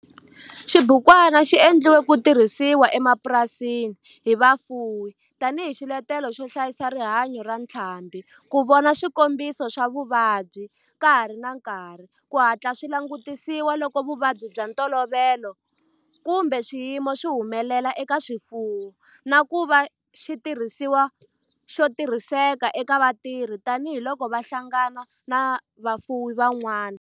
Xibukwana xi endliwe ku tirhisiwa emapurasini hi vafuwi tani hi xiletelo xo hlayisa rihanyo ra ntlhambhi, ku vona swikombiso swa vuvabyi ka ha ri na nkarhi ku hatla swi langutisiwa loko vuvabyi bya ntolovelo kumbe swiyimo swi humelela eka swifuwo, na ku va xitirhisiwa xo tirhiseka eka vatirhi tani hi loko va hlangana na vafuwi van'wana.